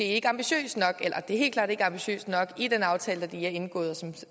ikke synes er ambitiøs nok i den aftale der lige er indgået og som